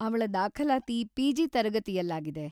ಅವ್ಳ ದಾಖಲಾತಿ ಪಿ.ಜಿ. ತರಗತಿಯಲ್ಲಾಗಿದೆ.